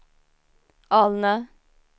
Alnö